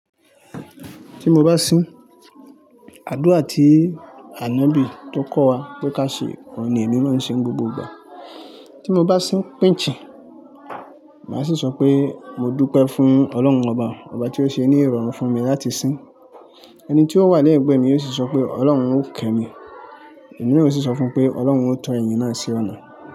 Tí mo bá sín, àdúrà tí Ànọ́bì tó kọ́ wa pé kí á ṣe, òhun ni èmi máa ń ṣe ní gbogbo ìgbà. Tí mo bá sín pínǹjì, màá sì sọ pé mo dúpẹ́ fún Ọlọ́run ọba, ọba tí ó ṣe ni ìrọ̀rùn fún mi láti sín. Ẹni tí ó wà lẹ́yìn ẹ̀gbẹ́ mi yóò sì sọ pé Ọlọ́run ó kẹ́ mi, èmi yóò sì sọ fún un pé Ọlọ́run ó tọ́ ènìyàn ẹyin náà sí ọ̀nà.